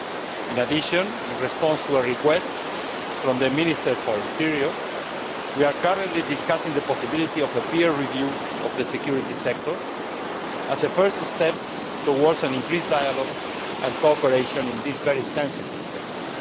In addition, in response to a request from the Minister for the Interior, we are currently discussing the possibility of a peer review of the security sector as a first step towards increased dialogue and cooperation in this very sensitive sector.